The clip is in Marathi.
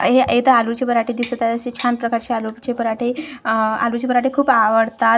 आ हे इथं आलूचे पराठे दिसत आहे असे छान प्रकारचे आलूचे पराठे अह आलूचे पराठे खूप आवडतात.